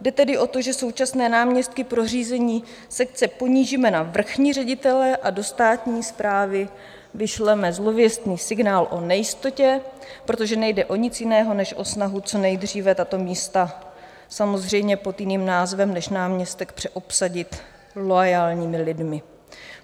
Jde tedy o to, že současné náměstky pro řízení sekce ponížíme na vrchní ředitele a do státní správy vyšleme zlověstný signál o nejistotě, protože nejde o nic jiného než o snahu co nejdříve tato místa, samozřejmě pod jiným názvem než náměstek, přeobsadit loajálními lidmi.